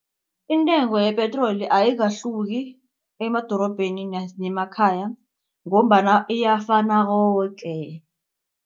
Intengo yepetroli ayikahluki emadorobheni nemakhaya ngombana iyafana koke.